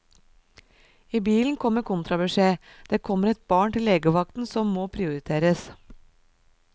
I bilen kommer kontrabeskjed, det kommer et barn til legevakten som må prioriteres.